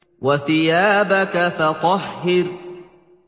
وَثِيَابَكَ فَطَهِّرْ